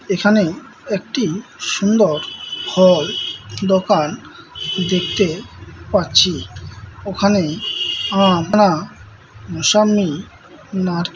এখানে একটি সুন্দর ফল দোকান দেখতে পাচ্ছি ওখানে আম না মুসাম্মি --